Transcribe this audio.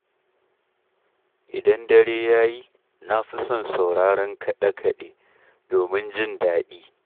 Idan dare ya yi, na fi son sauraron kaɗe-kaɗe, domin jin daɗi.